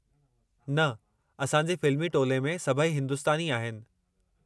न, असांजे फ़िल्मी टोले में सभई हिंदुस्तानी आहिनि।